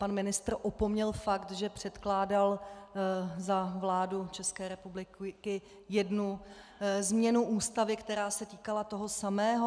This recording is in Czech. Pan ministr opomněl fakt, že předkládal za vládu České republiky jednu změnu Ústavy, která se týkala toho samého.